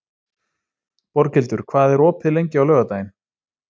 Borghildur, hvað er opið lengi á laugardaginn?